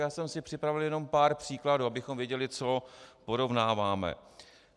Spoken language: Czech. Já jsem si připravil jenom pár příkladů, abychom věděli, co porovnáváme.